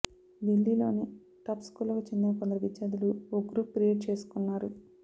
ఢిల్లీలోని టాప్ స్కూళ్లకు చెందిన కొందరు విద్యార్థులు ఓ గ్రూప్ క్రియేట్ చేసుకున్నారు